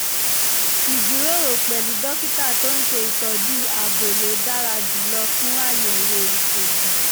ìjíròrò pẹ̀lú dókítà tó ń ṣe ìtọ́jú abo ló dára jùlọ fún àyẹ̀wò ìṣègùn